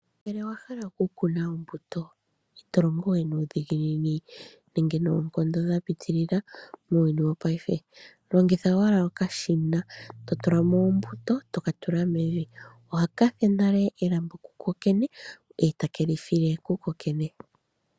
Ngele owa hala oku kuna ombuto ito longowe nuudhiginini nenge noonkondo dha pitilila muuyuni wopayife. Longitha owala okashina to tula mo ombuto toka tula mevi ohaka fulu nale elambo ku kokene eta ke li file kukokene.